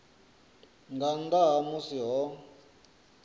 nga nnḓa ha musi ho